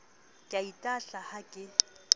ke a itahla ha ke